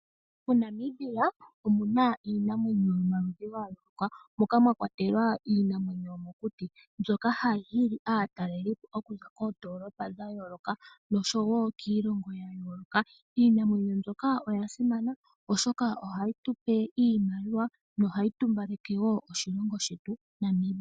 MoNamibia omuna iinamwenyo yomaludhi gayooloka moka mwakwatela iinamwenyo yomokuti mbyoka hayi hili aatalelipo okuza koomdolopa dhayooloka nosho wo kiilongo yayooloka. Iinamwenyo mbyoka oyasimana oshoka ohayi iinaliwa no hayi tumbaleke wo oshilongo shetu Namibia.